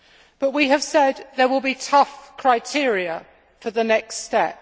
But we have said that there will be tough criteria for the next step.